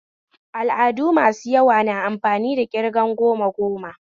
Al'adu masu yawa na amfani da ƙirgan goma goma